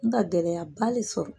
Nka gɛlɛyaba de sɔrɔ